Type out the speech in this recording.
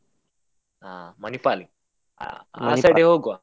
ಆ Manipal ಗೆ ಆ ಆ side ಗೆ ಹೋಗುವ.